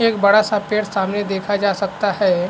एक बड़ा-सा पेड़ सामने देखा जा सकता है।